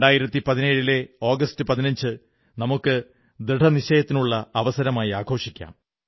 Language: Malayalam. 2017ലെ ആഗസ്റ്റ് 15 നമുക്ക് ദൃഢനിശ്ചയത്തിനുള്ള അവസരമായി ആഘോഷിക്കാം